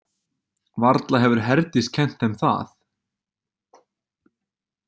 Varla hefur Herdís kennt þeim það?